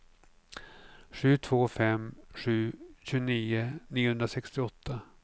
sju två fem sju tjugonio niohundrasextioåtta